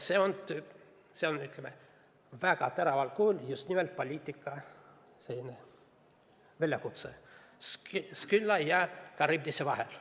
See on väga teraval kujul just nimelt poliitika väljakutse Skylla ja Charybdise vahel.